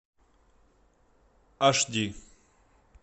аш ди